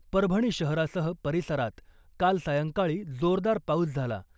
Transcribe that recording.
परभणी शहरासह परिसरात काल सायंकाळी जोरदार पाऊस झाला .